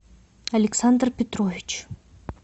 александр петрович